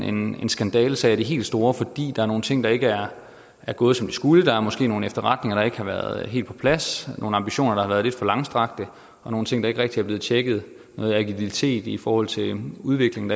en skandalesag af de helt store fordi der er nogle ting der ikke er gået som de skulle der er måske nogle efterretninger der ikke har været helt på plads nogle ambitioner der har været lidt for langstrakte og nogle ting der ikke rigtig er blevet tjekket og noget agilitet i forhold til udviklingen